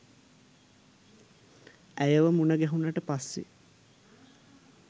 ඇයව මුණගැහුනට පස්සෙ